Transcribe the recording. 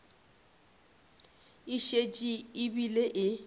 e šetše e bile e